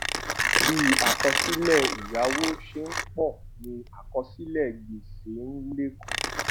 bí àkọsílè èyáwó ṣe n pò ni àkọsílè gbèsè n lékún